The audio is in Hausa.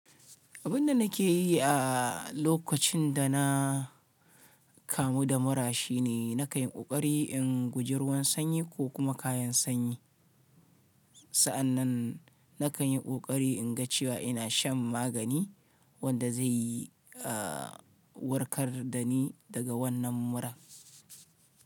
Abin da nake yi a lokacin da na kamu da mura shine na kayi ƙoƙari in guji ruwan sanyi ko kuma kayan sanyi. Sa'an nan na kayi ƙoƙari in ga cewa ina shan magani wanda zai warkar da ni daga wannan mura.